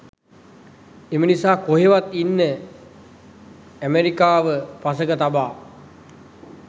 එම නිසා කොහෙවත් ඉන්න අමෙරිකාව පසෙක තබ